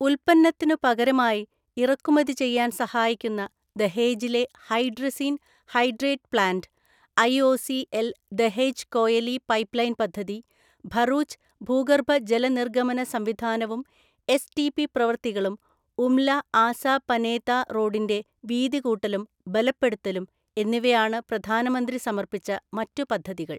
ഉൽപ്പന്നത്തിനു പകരമായി ഇറക്കുമതിചെയ്യാൻ സഹായിക്കുന്ന ദഹേജിലെ hydrazine hydrate plant, IOCL Dahej Koyali പൈപ്പ്ലൈൻപദ്ധതി, ഭറൂച്ച് ഭൂഗർഭ ജലനിർഗമനസംവിധാനവും എസ്ടിപി പ്രവൃത്തികളും, ഉംല്ല ആസാ പനേത റോഡിന്റെ വീതികൂട്ടലും ബലപ്പെടുത്തലും എന്നിവയാണു പ്രധാനമന്ത്രി സമർപ്പിച്ച മറ്റു പദ്ധതികൾ.